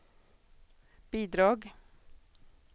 bidrag